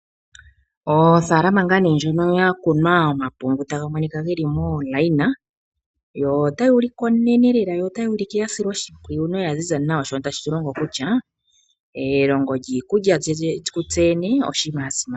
Ofaalama ngaa ndjono yakunwa omapungu taga monika geli momikweyo ,yo otayi ulike onene lela ya silwa oshimpwiyu noya ziza nawa shono tashi longo kutya elongo yiikulya kutse tene oshinima sha simana